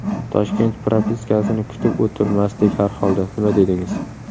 Toshkent propiskasini kutib o‘tirmasdik harholda, nima dedingiz?